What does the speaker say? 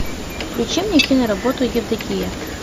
включи мне киноработу евдокия